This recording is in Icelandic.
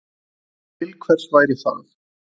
Til hvers væri það?